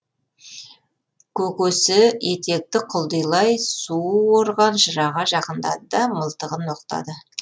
көкесі етекті құлдилай су орған жыраға жақындады да мылтығын оқтады